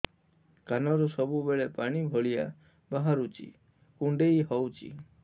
କାନରୁ ସବୁବେଳେ ପାଣି ଭଳିଆ ବାହାରୁଚି କୁଣ୍ଡେଇ ହଉଚି